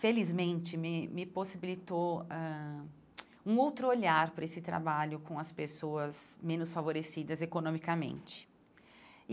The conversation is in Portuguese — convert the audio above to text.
felizmente me me possibilitou ãh um outro olhar para esse trabalho com as pessoas menos favorecidas economicamente e.